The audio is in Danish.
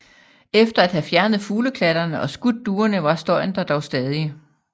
Efter at have fjernet fugleklatterne og skudt duerne var støjen der dog stadig